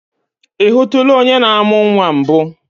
I hụtụla onye na-amụ nnwa mbụ?